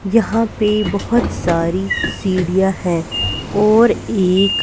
यहां पे बहोत सारी सीढ़ियां है और एक--